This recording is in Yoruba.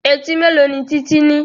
Etí mélòó ni Títí ní?